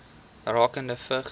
rakende vigs